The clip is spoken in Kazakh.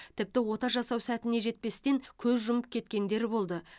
тіпті ота жасау сәтіне жетпестен көз жұмып кеткендер болды